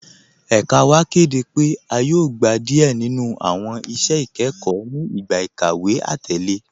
Ẹ̀kà wa kẹdẹ pe a yóò gbà díẹ ninu awọn iṣẹ̀ ikẹkọ ni igbá ikàwé atẹlẹ.